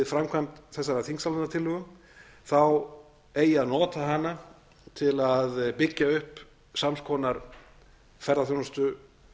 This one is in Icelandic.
framkvæmd þessarar þingsályktunartillögu eigi að nota hana til að byggja upp sams konar ferðaþjónustu